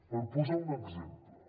per posar un exemple